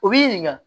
U b'i ɲininka